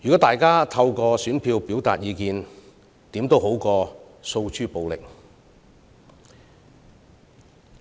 大家透過選票表達意見，總比訴諸暴力好。